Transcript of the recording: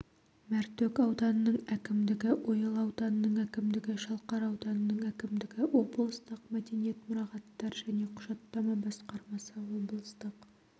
мәртөк ауданының әкімдігі ойыл ауданының әкімдігі шалқар ауданының әкімдігі облыстық мәдениет мұрағаттар және құжаттама басқармасы облыстық